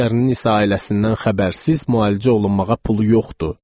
Digərinin isə ailəsindən xəbərsiz müalicə olunmağa pulu yoxdur.